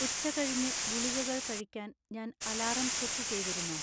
ഉച്ചകഴിഞ്ഞ് ഗുളികകൾ കഴിക്കാൻ ഞാൻ അലാറം സെറ്റ് ചെയ്തിരുന്നോ?